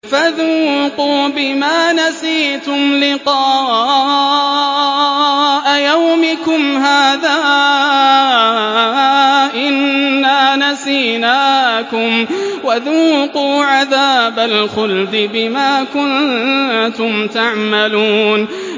فَذُوقُوا بِمَا نَسِيتُمْ لِقَاءَ يَوْمِكُمْ هَٰذَا إِنَّا نَسِينَاكُمْ ۖ وَذُوقُوا عَذَابَ الْخُلْدِ بِمَا كُنتُمْ تَعْمَلُونَ